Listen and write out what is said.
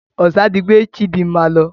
Ọsà ti gbé Chidinma lọ.